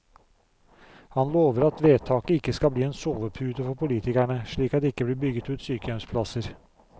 Han lover at vedtaket ikke skal bli en sovepute for politikerne, slik at det ikke blir bygget ut sykehjemsplasser.